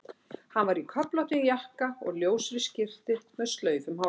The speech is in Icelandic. Hann var í köflóttum jakka og ljósri skyrtu með slaufu um hálsinn.